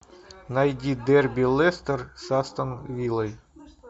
найди дерби лестер с астон виллой